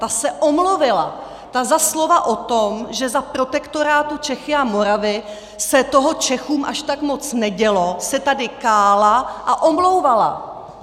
Ta se omluvila, za slova o tom, že za protektorátu Čechy a Morava se toho Čechům až tak moc nedělo, se tady kála a omlouvala!